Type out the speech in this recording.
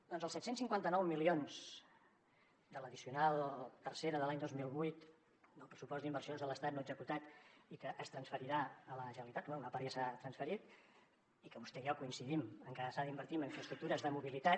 doncs els set cents i cinquanta nou milions de l’addicional tercera de l’any dos mil vuit del pressupost d’inversions de l’estat no executat i que es transferirà a la generalitat bé una part ja s’ha transferit i que vostè i jo coincidim en que s’ha d’invertir en infraestructures de mobilitat